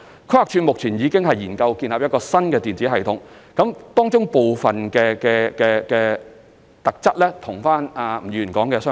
規劃署現正研究建立一個新的電子系統，當中部分功能與吳議員所述的相似。